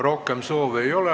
Rohkem soove ei ole.